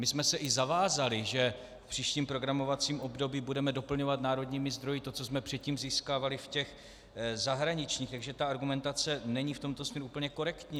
My jsme se i zavázali, že v příštím programovacím období budeme doplňovat národními zdroji to, co jsme předtím získávali v těch zahraničních, takže ta argumentace není v tomto směru úplně korektní.